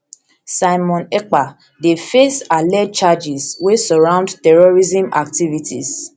simon ekpa ekpa dey face alleged charges wey surround terrorism activities